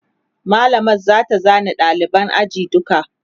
mallamar zata zana ɗaliban ajin duka